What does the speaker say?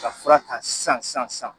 Ka fura ta san san san